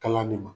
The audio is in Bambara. Kala de ma